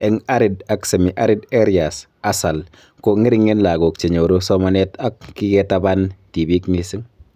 Eng arid ak semi-arid areas (ASAL)ko ng'ering'en lagok che nyoru somanet ako kiketaban tibiik mising